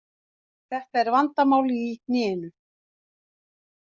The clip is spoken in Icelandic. Þetta er vandamál í hnénu.